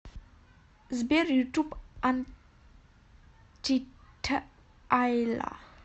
сбер ютуб антитайла